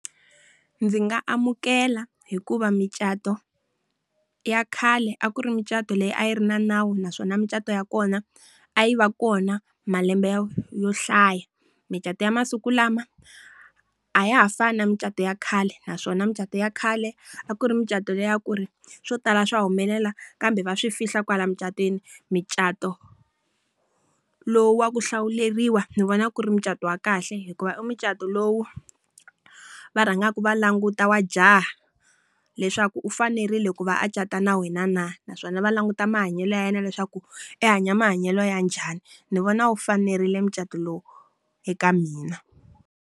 Ndzi nga amukela hikuva micato ya khale a ku ri micato leyi a yi ri na nawu naswona mucato ya kona, a yi va kona malembe yo hlaya. Micato ya masiku lama, a ya ha fani na mucato ya khale naswona mucato ya khale, a ku ri mucato le ya ku ri swo tala swa humelela kambe va swi fihla kwala emucatweni. Micato lowu wa ku hlawuleriwa ni vona ku ri mucato wa kahle hikuva i mucato lowu va rhangaku va languta wa jaha leswaku u fanerile ku va a cata na wena na? Naswona va languta mahanyelo ya yena leswaku, a hanya mahanyelo ya njhani ni vona u fanerile mucato lowu eka mina.